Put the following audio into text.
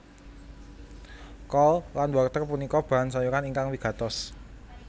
Kol lan wortel punika bahan sayuran ingkang wigatos